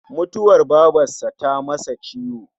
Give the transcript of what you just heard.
Mutuwar babarsa ta masa ciwo